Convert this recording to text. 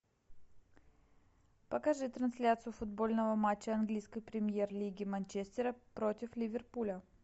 покажи трансляцию футбольного матча английской премьер лиги манчестера против ливерпуля